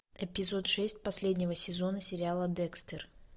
эпизод шесть последнего сезона сериала декстер